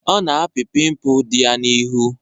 Ọ na-apị pimpụl di ya n'ihu.